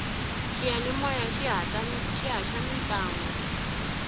xiyanimoya xi haxa ta mintlangu